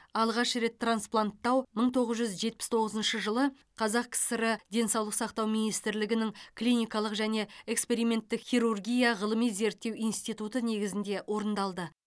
алғаш рет транспланттау мың тоғыз жүз жетпіс тоғызыншы жылы қазақкср денсаулық сақтау министрлігінің клиникалық және эксперименттік хирургия ғылыми зерттеу институты негізінде орындалды